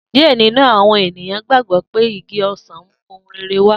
Diẹ ninu awọn eniyan gbagbọ pe igi osan mu ohun rere wa.